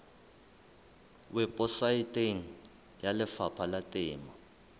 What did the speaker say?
weposaeteng ya lefapha la temo